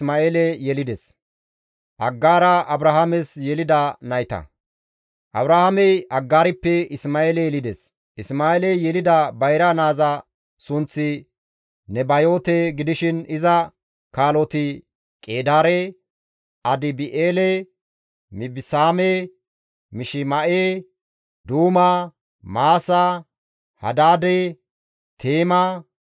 Abrahaamey Aggaarippe Isma7eele yelides; Isma7eeley yelida bayra naaza sunththi Nebayoote gidishin iza kaaloti Qeedaare, Adibi7eele, Mibisaame, Mishima7e, Duuma, Maasa, Hadaade, Teema,